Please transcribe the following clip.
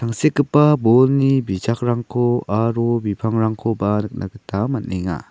tangsekgipa bolni bijakrangko aro bipangrangkoba nikna gita man·enga.